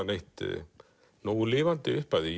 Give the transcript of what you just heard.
neitt nógu lifandi upp af því